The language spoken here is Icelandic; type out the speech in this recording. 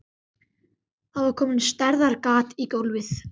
Það var komið stærðar gat í gólfið.